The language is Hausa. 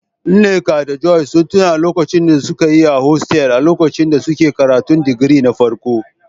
Nneka da Joy sun tuna lokacin da suka yi a hostels a lokacin da suke karatun digiri na farko.